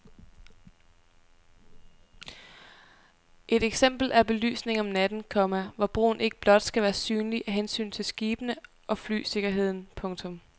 Et eksempel er belysningen om natten, komma hvor broen ikke blot skal være synlig af hensyn til skibene og flysikkerheden. punktum